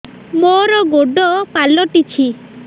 ମୋର ଗୋଡ଼ ପାଲଟିଛି